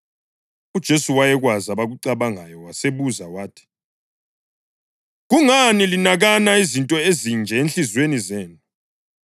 UJesu wayekwazi abakucabangayo wasebuza wathi, “Kungani linakana izinto ezinje ezinhliziyweni zenu?